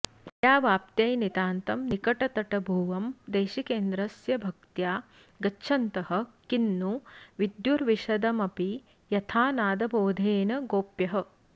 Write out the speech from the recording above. विद्यावाप्त्यै नितान्तं निकटतटभुवं देशिकेन्द्रस्य भक्त्या गच्छन्तः किन्नु विद्युर्विशदमपि यथा नादबोधेन गोप्यः